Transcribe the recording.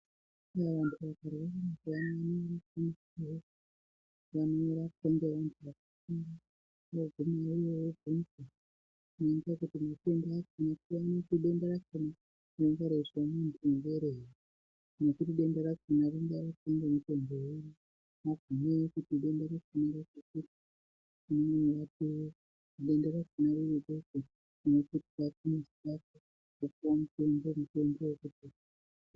......denda rakona rinenge reizwa munthu ngerei nekuti denda rakona ringarapwa nemutombo uri ......